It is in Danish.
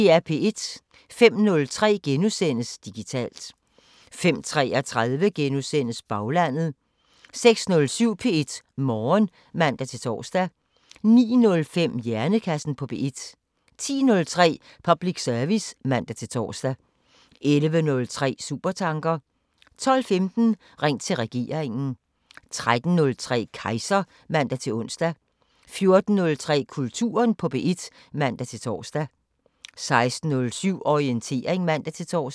05:03: Digitalt * 05:33: Baglandet * 06:07: P1 Morgen (man-tor) 09:05: Hjernekassen på P1 10:03: Public service (man-tor) 11:03: Supertanker 12:15: Ring til regeringen 13:03: Kejser (man-ons) 14:03: Kulturen på P1 (man-tor) 16:07: Orientering (man-tor)